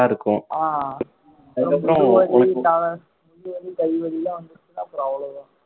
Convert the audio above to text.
ஆஹ் முதுகு வலி கா~ முதுகு வலி கை வலிலாம் வந்துருச்சின்னா அப்புறம் அவ்வளவுதான்